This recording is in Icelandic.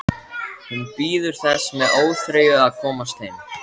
Hún bíður þess með óþreyju að komast heim.